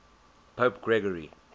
pope gregory